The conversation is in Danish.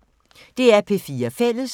DR P4 Fælles